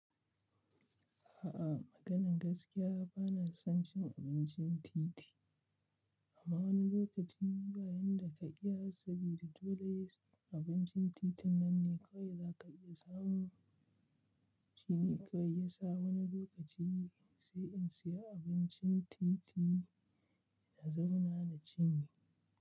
A'a, maganan gaskiya bana son cin abincin titi. Amma wani lokaci bayan da ka iya sabida dole abincin titin nan ne kawai za ka iya samu. Shine kawai yasa wani lokaci sai in siya abincin titi na zauna na cinye.